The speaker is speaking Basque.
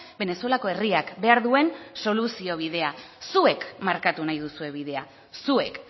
venezuelako herriak behar duen soluzio bidea zuek markatu nahi duzue bidea zuek